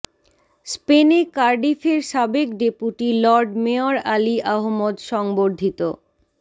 স্পেনে কার্ডিফের সাবেক deputy lord mayor Ali Ahmad সংবর্ধিত